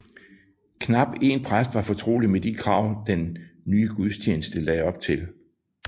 Knap en præst var fortrolig med de krav den nye gudstjeneste lagde op til